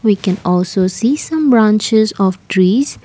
we can also see some branches of trees.